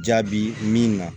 Jaabi min na